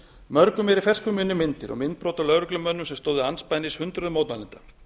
mörgum eru í fersku minni myndir og myndbrot af lögreglumönnum sem stóðu andspænis hundruðum mótmælenda